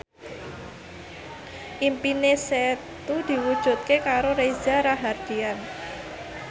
impine Setu diwujudke karo Reza Rahardian